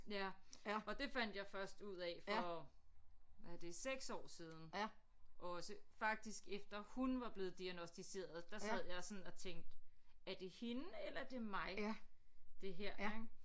Ja og det fandt jeg først ud af for hvad er det 6 år siden også faktisk efter hun var blevet diagnosticeret der sad jeg sådan og tænkte er det hende eller det mig det her ik